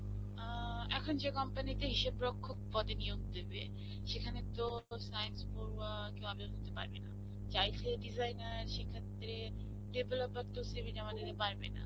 অ্যা এখন যে company তে হিসেব রক্ষক পদে নিয়োগ দিবে, সেখানে তো science পড়ুয়া কেউ আবেদন করতে পারবে না. সে designer সেক্ষেত্রে developer তো CV জমা দিতে পারবে না.